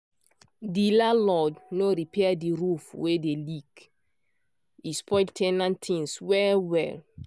di landlord no repair di roof wey dey leak e spoil ten ant things well well.